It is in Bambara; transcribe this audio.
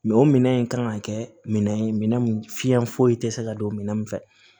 Mɛ o minɛn in kan ka kɛ minɛn ye minɛn min fiɲɛ foyi tɛ se ka don minɛn min fɛ